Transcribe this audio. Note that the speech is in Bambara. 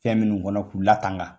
Fɛn minnu kɔnɔ k'u latanga.